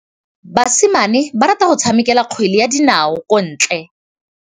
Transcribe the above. Basimane ba rata go tshameka kgwele ya dinaô kwa ntle.